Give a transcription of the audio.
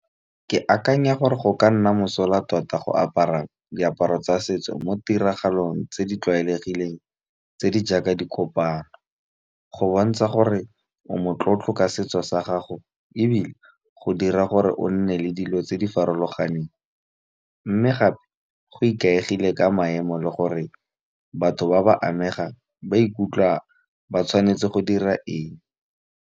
Ke akanya gore go ka nna mosola tota go apara diaparo tsa setso mo tiragalong tse di tlwaelegileng tse di jaaka dikopano go bontsha gore o motlotlo ka setso sa gago ebile go dira gore o nne le dilo tse di farologaneng. Mme gape go ikaegile ka maemo le gore batho ba ba amegang ba ikutlwa ba tshwanetse go dira eng.